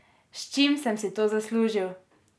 S čim sem si to zaslužil?